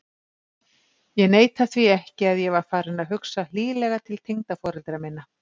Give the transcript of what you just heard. Ég neita því ekki að ég var farinn að hugsa hlýlega til tengdaforeldra minna.